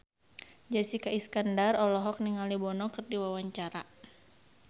Jessica Iskandar olohok ningali Bono keur diwawancara